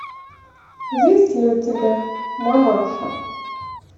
есть ли у тебя мамаша